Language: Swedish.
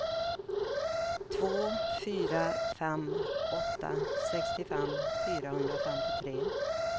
två fyra fem åtta sextiofem fyrahundrafemtiotre